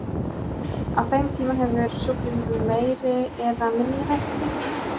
Á þeim tíma hefur sjúklingurinn meiri eða minni verki.